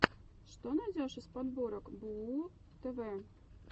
что найдешь из подборок бууу тв